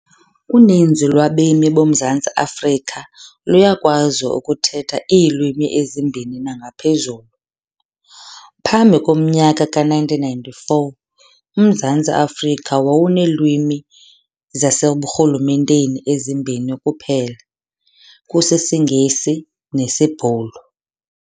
Uninzi lwabemi boMzantsi Afrika luyakwazi ukuthetha iilwimi ezimbini nangaphezulu. Phambi komnyaka ka-1994, uMzantsi Afrika wawuneelwimi zaseburhulumenteni ezimbini kuphela, kusisiNgesi nesiBhulu.